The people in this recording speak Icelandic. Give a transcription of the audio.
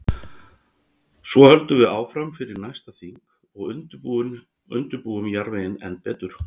Svo höldum við áfram fyrir næsta þing og undirbúum jarðveginn enn betur.